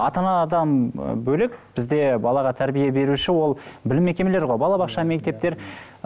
ата анадан бөлек бізде балаға тәрбие беруші ол білім мекемелері ғой бала бақша мектептер